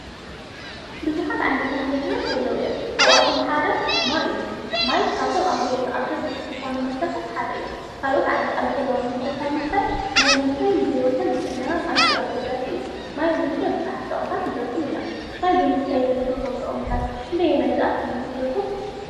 ብዙሓት ዓይነታት መሰረት ኣለዉ እዮም፡፡ ካብኣቶም ሓደ ማይ እዩ፡፡ ማይ ካብቶም ኣብ ህይወትና ኣገዳሲ ዝኾነ መስተታት ሓደ እዩ፡፡ ካልኦት ዓይነት ኣልኮላዊ መስተ ካብ ምስታይ ማይ ምስታይ ንህይወትናን ንጥዕናናን ኣዚዩ ኣገዳስ እዩ፡፡ ማይ ብምስታይ ኣብዙሓት ጥቕምታት ክንረክብ ንኽእል ኢና፡፡ ማይ ብምስታይ ግን ንረኽቦም ጥቕምታት ክንደየናይ ዝኣክል ይመስለኩም?